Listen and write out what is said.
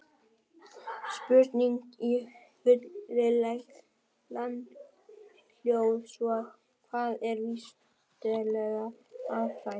Spurningin í fullri lengd hljóðaði svona: Hvað er vísindaleg aðferðafræði?